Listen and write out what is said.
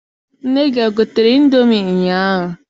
Nne gị egotere ịndomi ụnyaahụ?